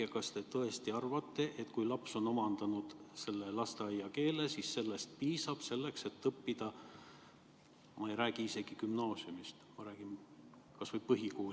Ja kas te tõesti arvate, et kui laps on omandanud lasteaiakeele, siis sellest piisab selleks, et õppida kas või põhikoolis, gümnaasiumist ma ei räägigi?